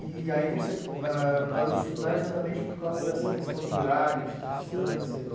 E aí você parou de estudar exatamente por causa dessa questão de horário, de distância, de...